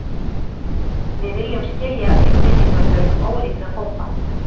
Við viljum skilja upplýsingaþörf ólíkra hópa